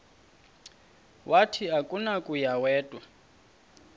wathi akunakuya wedw